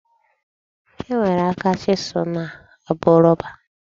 E nwere aka chisụl na-abụ rọba.